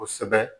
Kosɛbɛ